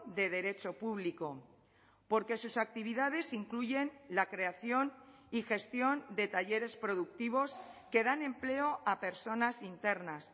de derecho público porque sus actividades incluyen la creación y gestión de talleres productivos que dan empleo a personas internas